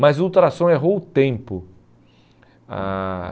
Mas o ultrassom errou o tempo. Ah